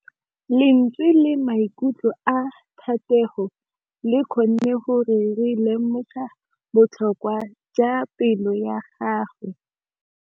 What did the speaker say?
Lentswe la maikutlo a Thategô le kgonne gore re lemosa botlhoko jwa pelô ya gagwe.